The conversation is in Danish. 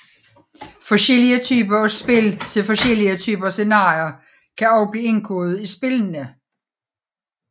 Forskellige typer af spil til forskellige typer scenarier kan også blive indkodet i spillene